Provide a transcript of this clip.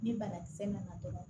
Ni banakisɛ nana dɔgɔ